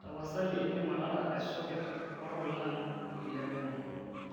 tapasali indim atara esoket orpulag le wemo